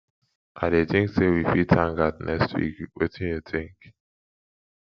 i dey think say we fit hang out next week wetin you think